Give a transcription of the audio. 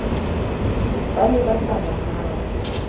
ba ne ba sa nahane